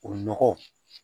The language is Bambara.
O nɔgɔ